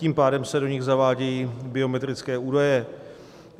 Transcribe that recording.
Tím pádem se do nich zavádějí biometrické údaje.